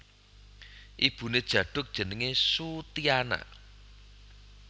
Ibuné Djaduk jenengé Soetiana